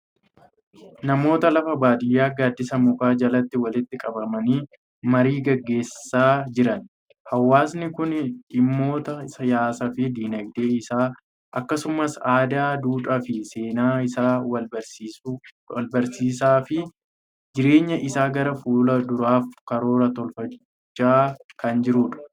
Namoota lafa baadiyaa gaaddisa mukaa jalatti walitti qabamanii marii gaggeessaa jiran. Hawaasni kun dhimmoota siyaasaa fi dinagdee isaa akkasumas aadaa, duudhaa fi seenaa isaa walbarsiisaa fi jireenya isaa gara fuula duraafis karoora tolfachaa kan jirudha.